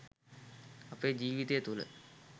අපේ ජීවිතය තුළ